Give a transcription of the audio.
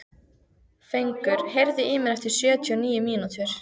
Fengur, heyrðu í mér eftir sjötíu og níu mínútur.